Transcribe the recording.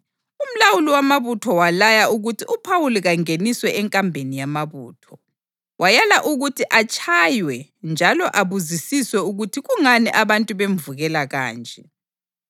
umlawuli wamabutho walaya ukuthi uPhawuli kangeniswe enkambeni yamabutho. Wayala ukuthi atshaywe njalo abuzisiswe ukuthi kungani abantu bemvukela kanje.